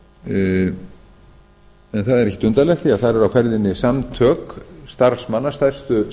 er ekkert undarlegt því að þar eru á ferðinni samtök starfsmanna stærstu